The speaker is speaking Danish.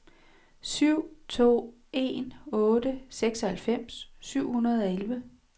syv to en otte seksoghalvfems syv hundrede og elleve